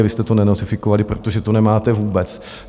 A vy jste to nenotifikovali, protože to nemáte vůbec.